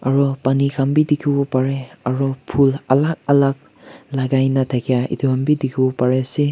aru pani khan bi dikhiwo parae aro phul alak alak lagai na thaka edu han bi dikhi wo pare ase.